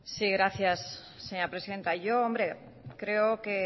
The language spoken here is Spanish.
sí gracias señora presidenta yo creo que